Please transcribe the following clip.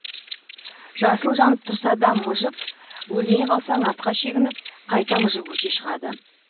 жасыл жанып тұрса да мыжып өлмей қалсаң артқа шегініп қайта мыжып өте шығады